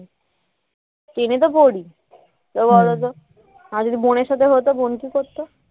কিনে তো পরি তাই বলো তো আর যদি বোনের সাথে হতো বোন কি করত